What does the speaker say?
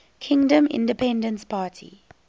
kingdom independence party